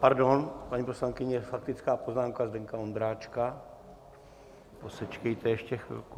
Pardon, paní poslankyně, faktická poznámka Zdeňka Ondráčka, posečkejte ještě chvilku.